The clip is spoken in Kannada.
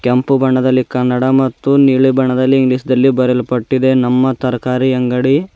ಕೆಂಪು ಬಣ್ಣದಲ್ಲಿ ಕನ್ನಡ ಮತ್ತು ನೀಲಿ ಬಣ್ಣದಲ್ಲಿ ಇಂಗ್ಲೀಷ್ದಲ್ಲಿ ಬರೆಯಲ್ಪಟ್ಟಿದೆ ನಮ್ಮ ತರಕಾರಿ ಅಂಗಡಿ--